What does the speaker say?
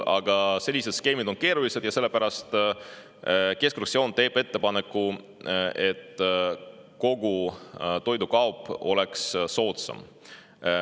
Aga sellised skeemid on keerulised ja sellepärast teeb keskfraktsioon ettepaneku, et kogu toidukaup oleks soodsam.